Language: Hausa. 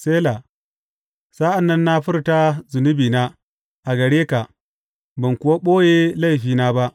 Sela Sa’an nan na furta zunubina a gare ka ban kuwa ɓoye laifina ba.